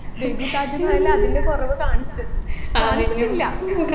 baby Taj Mahal ൽ അതിൻെറ കുറവ് കാണിച്ചു കാണിച്ചിട്ടില്ല